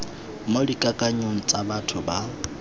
mo dikakanyong tsa batho ba